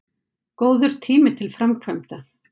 Góður tími til framkvæmda